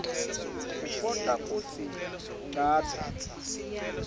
kutfola kutsi ngabe